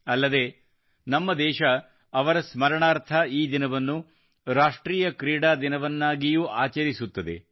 ಅಲ್ಲದೆ ನಮ್ಮ ದೇಶ ಅವರ ಸ್ಮರಣಾರ್ಥ ಈ ದಿನವನ್ನು ರಾಷ್ಟ್ರೀಯ ಕ್ರೀಡಾ ದಿನವನ್ನಾಗಿಯೂ ಆಚರಿಸುತ್ತದೆ